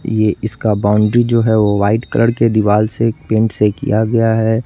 ये इसका बॉउंड्री जो है वो व्हाइट कलर के दीवाल से पेंट से किया गया है।